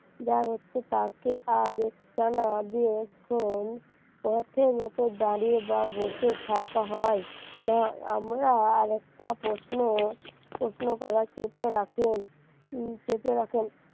দাঁড়াতে তাকে আর একটা না দিয়ে পথে দাঁড়িয়ে বা বসে থাকা হয় না আমরা আরেকটা প্রশ্ন প্রশ্ন করার চেপে রাখলেন চেপে রাখেন